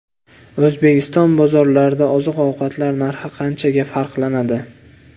O‘zbekiston bozorlarida oziq-ovqatlar narxi qanchaga farqlanadi?.